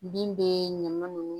Bin bɛ ɲaman nunnu